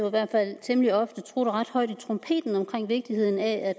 i hvert fald temmelig ofte trutter ret højt i trompeten omkring vigtigheden af at